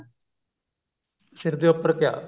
ਸਿਰ ਦੇ ਉੱਪਰ ਕਿਆ